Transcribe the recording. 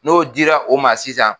N'o dira o ma sisan